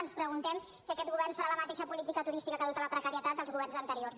ens preguntem si aquest govern farà la mateixa política turística que ha dut a la precarietat dels governs anteriors